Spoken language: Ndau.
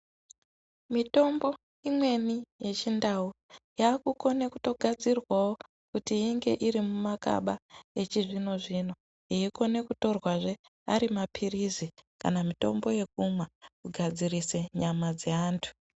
Mitombo imweni yechindau, yaakutokone kugadzirwawo kuti inge iri mumakaba echizvino-zvino, yeikone kutorwazve ari maphirizi kana mitombo yekumwa, kugadzirise nyama dzeantu.